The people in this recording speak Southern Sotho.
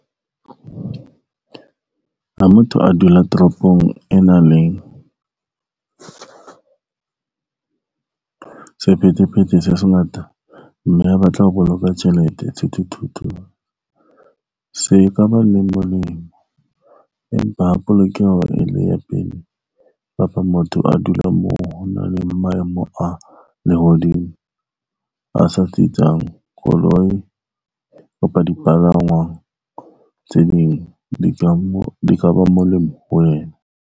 Ha motho a dula toropong e nang leng sephethephethe se sengata, mme a batla ho boloka tjhelete sethuthuthu se ka ba le molemo, empa polokeho e le ya pele. Kapa motho a dulang moo ho nang le maemo a lehodimo a sa tsitsang koloi kapa dipalangwang tse ding di ka ba molemo ho wena.